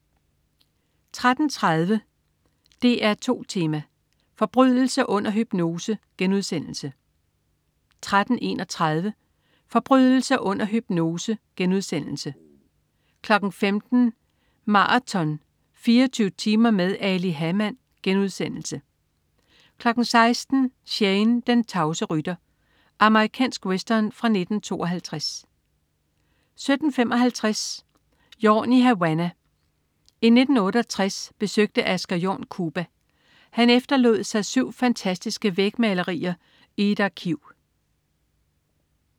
13.30 DR2 Tema: Forbrydelse under hypnose* 13.31 Forbrydelse under hypnose* 15.00 Maraton. 24 timer med Ali Hamann* 16.00 Shane, den tavse rytter. Amerikansk western fra 1952 17.55 Jorn i Havanna. I 1968 besøgte Asger Jorn Cuba. Han efterlod sig syv fantastiske vægmalerier i et arkiv